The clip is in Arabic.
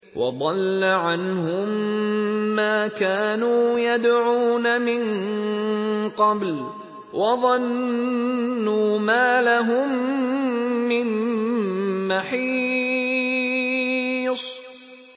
وَضَلَّ عَنْهُم مَّا كَانُوا يَدْعُونَ مِن قَبْلُ ۖ وَظَنُّوا مَا لَهُم مِّن مَّحِيصٍ